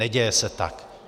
Neděje se tak.